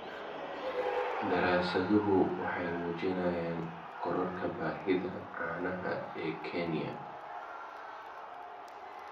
Daraasaduhu waxay muujinayaan kororka baahida caanaha ee Kenya.